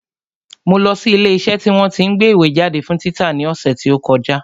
Mo lọ sí ilé iṣẹ́ tí wọ́n tí ń gbé ìwé jáde fún títa ní ọ̀sẹ̀ tí ó kọjá